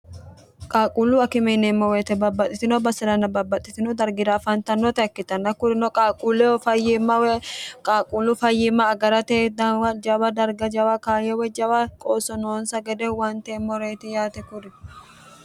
qaaquullu akime yineemmo weyite babbaxitino baseranna babbaxxitino dargira afaantannota ikkitanna kurino qaaquulleho fayyiimmawe qaaquullu fayyimma agarate jawa darga jawa kaayo woy jawa qoosso noonsa gede huwanteemmoreeti yaate kuri